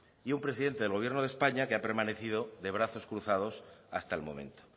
y un presidente del gobierno de españa que ha permanecido de brazos cruzados hasta el momento